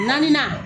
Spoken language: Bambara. Naaninan